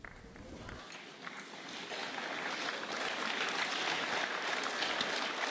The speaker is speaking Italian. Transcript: Iniziamo con la votazione sull'elezione della Commissione.